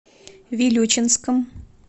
вилючинском